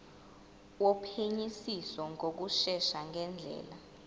wophenyisiso ngokushesha ngendlela